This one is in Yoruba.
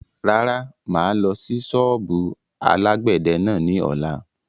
Rárá, máa lọ sí sọ́ọ́bù alàgbẹ̀dẹ náà ni ọ̀la.